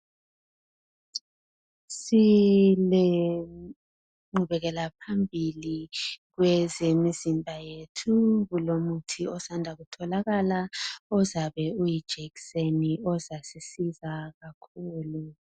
Silegqubekela phambili kwezemizimba yethu kulomuthi osanda kutholakala ozabe uyijekiseni ozasisiza kakhulu.